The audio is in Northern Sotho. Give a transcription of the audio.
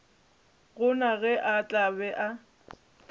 gona ge a tla be